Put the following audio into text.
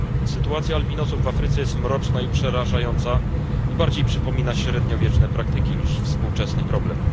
Sytuacja albinosów w Afryce jest mroczna i przerażająca i bardziej przypomina średniowieczne praktyki niż współczesny problem.